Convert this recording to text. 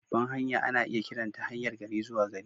Babbar hanya ana iya kiranta haryar gari-zuwa-gari.